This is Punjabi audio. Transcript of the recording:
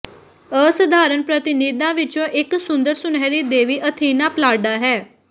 ਅਸਧਾਰਨ ਪ੍ਰਤਿਨਿਧਾਂ ਵਿਚੋਂ ਇਕ ਸੁੰਦਰ ਸੁਨਹਿਰੀ ਦੇਵੀ ਅਥੀਨਾ ਪੱਲਾਡਾ ਹੈ